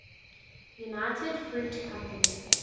united fruit company